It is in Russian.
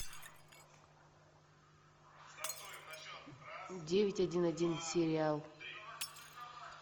девять один один сериал